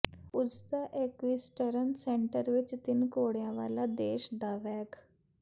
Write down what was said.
ਪੁਜ਼ਤਾ equestrian centre ਵਿਚ ਤਿੰਨ ਘੋੜਿਆਂ ਵਾਲਾ ਦੇਸ਼ ਦਾ ਵੈਗ